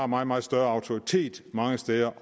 meget meget større autoritet mange steder